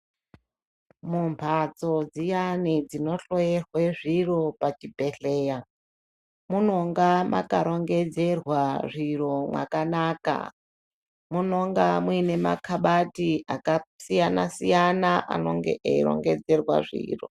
Mumbatso dziyani dzinohloyerwe zviro pachibhedhlera munonga makarongedzerwa zviro mwakanaka munonga muine makabati akasiyana siyana anonge eirongedzerwa zviro .